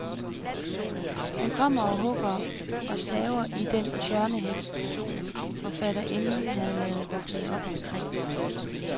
Han kommer og hugger og saver i den tjørnehæk, forfatterinden havde ladet vokse op omkring sig.